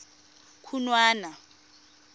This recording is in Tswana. khunwana